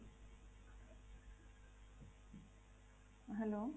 hello